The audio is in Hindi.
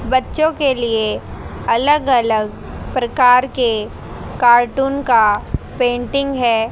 बच्चों के लिए अलग अलग प्रकार के कार्टून का पेंटिंग है।